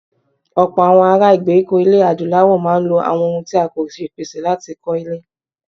Ọ̀pọ̀ àwọn ará ìgbèríko ilẹ̀ Adúláwọ̀ máa ń lo àwọn ohun tí a kò ṣèpèsè láti kọ́ ilé.